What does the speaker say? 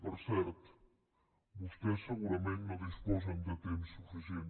per cert vostès segurament no disposen de temps suficient